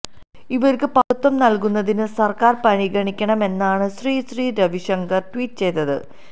ഇവർക്ക് പൌരത്വം നൽകുന്നത് സർക്കാർ പരിഗണിക്കണമെന്നാണ് ശ്രീ ശ്രീ രവിശങ്കര് ട്വീറ്റ് ചെയ്തത്